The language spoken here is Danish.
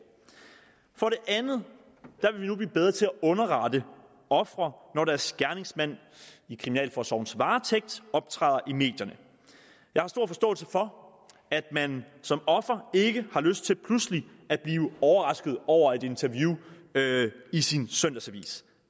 for det andet vil vi nu blive bedre til at underrette ofre når deres gerningsmænd i kriminalforsorgens varetægt optræder i medierne jeg har stor forståelse for at man som offer ikke har lyst til pludselig at blive overrasket over et interview i sin søndagsavis